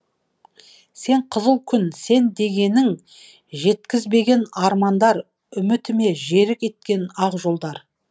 сен қызыл күн сен дегенің жеткізбеген армандар үмітіме жерік еткен ақ жолдар